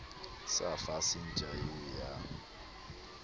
sa fase ntja eo ya